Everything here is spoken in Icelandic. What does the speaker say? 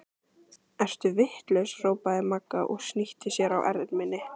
Ertu vitlaus! hrópaði Magga og snýtti sér á erminni.